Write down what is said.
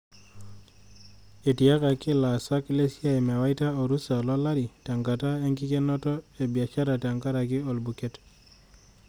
Etiakaki laasak lesia mewaita orusa lolari tenkata enkikenoto e biashara tenkaraki olbuket.